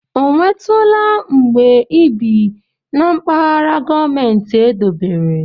Ọ nwetụla mgbe ị bi na mpaghara gọọmentị edobere?